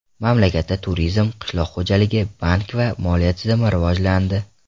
Mamlakatda turizm, qishloq xo‘jaligi, bank va moliya tizimi rivojlandi.